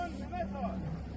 Tərpətmə, tərpətmə.